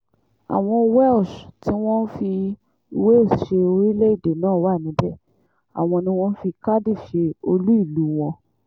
àwọn welsh tí wọ́n fi wales ṣe orílẹ̀-èdè náà wà níbẹ̀ àwọn ni wọ́n fi cardiff ṣe olú ìlú wọn